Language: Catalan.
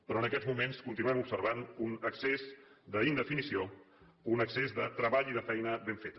però en aquests moments continuem observant un excés d’indefinició un excés de treball i de feina ben feta